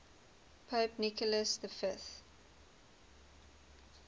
pope nicholas v